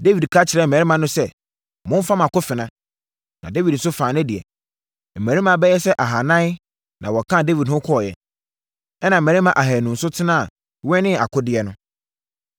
Dawid ka kyerɛɛ ne mmarima no sɛ, “Momfa mo akofena.” Na Dawid nso faa ne deɛ. Mmarima bɛyɛ sɛ ahanan na wɔkaa Dawid ho kɔeɛ, ɛnna mmarima ahanu nso tena wɛnee akodeɛ no.